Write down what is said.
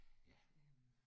Ja